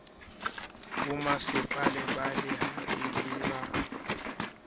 bomasepala ba lehae le ba